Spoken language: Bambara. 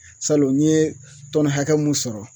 Salon n ye tɔni hakɛ mun sɔrɔ